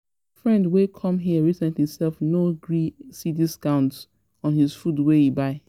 My friend wey come here recently self no gree see discount on his food wey he buy